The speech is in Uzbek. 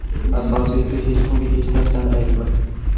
Asosiysi, hech kimga hech narsani aytma.